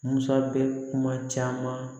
Musa bɛ kuma caman